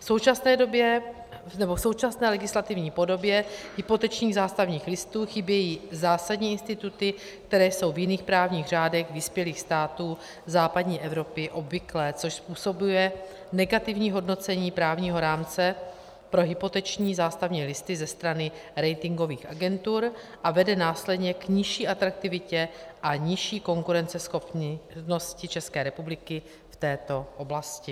V současné legislativní podobě hypotečních zástavních listů chybějí zásadní instituty, které jsou v jiných právních řádech vyspělých států západní Evropy obvyklé, což způsobuje negativní hodnocení právního rámce pro hypoteční zástavní listy ze strany ratingových agentur a vede následně k nižší atraktivitě a nižší konkurenceschopnosti České republiky v této oblasti.